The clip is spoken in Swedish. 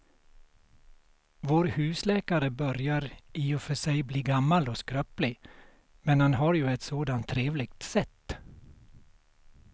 Vår husläkare börjar i och för sig bli gammal och skröplig, men han har ju ett sådant trevligt sätt!